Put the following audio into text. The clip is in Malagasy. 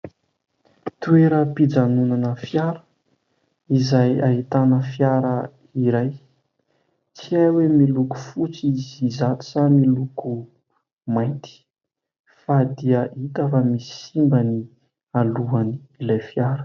Toeram-pijanonana fiara izay ahitana fiara iray. Tsy hay hoe miloko fotsy izy izato sa miloko mainty fa dia hita fa misy simba ny alohan'ilay fiara.